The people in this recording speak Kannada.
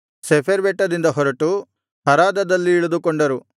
ಶೆಫೆರ್ ಬೆಟ್ಟದಿಂದ ಹೊರಟು ಹರಾದದಲ್ಲಿ ಇಳಿದುಕೊಂಡರು